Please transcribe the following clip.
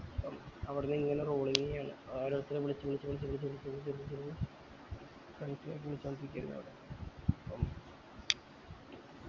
പ്പം അവ്ട്ന്ന് ഇങ്ങനെ rolling ന് ഓരോരുത്തരെ വിളിച്ച് വിളിച്ച് വിളിച്ച് വിളിച്ച് ളിച്ച് ളിച്ച് കലിപ്പിക്കു ആയിരുന്ന് അവിടെ